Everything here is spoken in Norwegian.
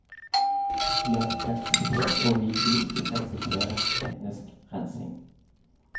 Vi har ikke akseptert, og vi vil ikke akseptere, etnisk rensing.